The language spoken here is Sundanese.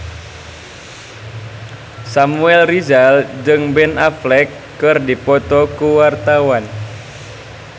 Samuel Rizal jeung Ben Affleck keur dipoto ku wartawan